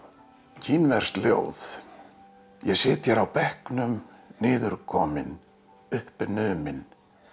kínverskt ljóð ég sit hér á bekknum niðurkominn uppnuminn